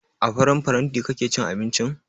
A farin faranti kake cin abincin?